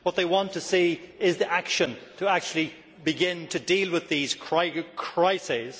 What they want to see is the action to actually begin to deal with these crises.